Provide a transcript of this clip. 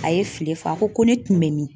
A ye file f'a a ko ko ne kun bɛ min?